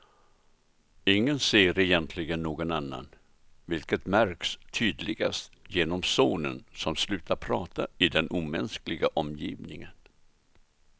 Ingen ser egentligen någon annan, vilket märks tydligast genom sonen som slutat prata i den omänskliga omgivningen.